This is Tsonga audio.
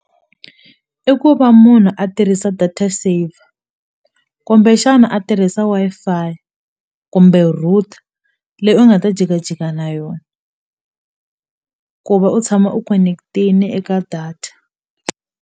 I ku va munhu a tirhisa data saver kumbexana a tirhisa Wi-Fi kumbe router leyi u nga ta jikajika na yona ku va u tshama u connect-ini eka data.